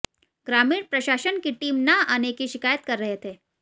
ग्रामीण प्रशासन की टीम न आने की शिकायत कर रहे थे